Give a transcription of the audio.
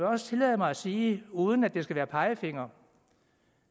også tillade mig at sige uden at det skal være pegefinger